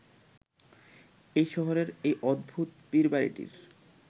এই শহরের এই অদ্ভুত পীরবাড়িটির